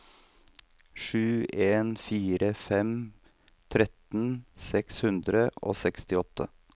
sju en fire fem tretten seks hundre og sekstiåtte